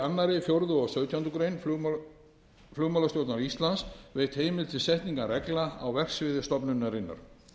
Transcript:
öðru fjórða og sautjándu grein flugmálastjórn íslands veitt heimild til setningar reglna á verksviði stofnunarinnar